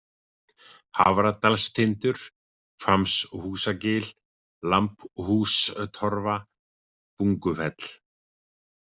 Hafradalstindur, Hvammshúsagil, Lambhústorfa, Bungufell